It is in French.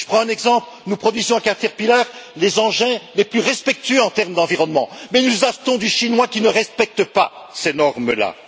Je prends un exemple nous produisons chez Caterpillar, les engins les plus respectueux en termes d'environnement mais nous achetons des engins chinois qui ne respectent pas ces normes là.